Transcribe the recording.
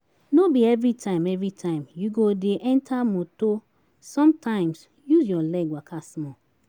No be everytime everytime you go de enter motor sometimes use your leg waka small